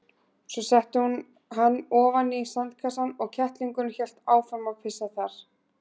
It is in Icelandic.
Svo setti hún hann ofan í sandkassann og kettlingurinn hélt áfram að pissa þar.